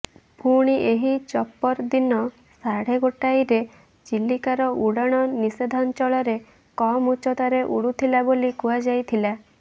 ପୁଣି ଏହି ଚପର ଦିନ ସାଢେ ଗୋଟାଏରେ ଚିଲିକାର ଉଡାଣ ନିଷିଦ୍ଧାଞ୍ଚଳରେ କମ ଉଚ୍ଚତାରେ ଉଡୁଥିଲା ବୋଲି କୁହାଯାଇଥିଲା